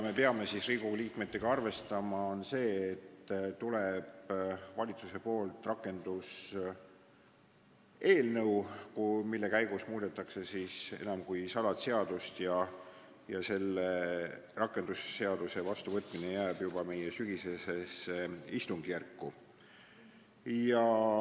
Me peame Riigikogu liikmetena arvestama, et valitsusest tuleb rakenduseelnõu, mille käigus muudetakse enam kui 100 seadust, ja selle rakendusseaduse vastuvõtmine jääb juba meie sügisesse istungjärku.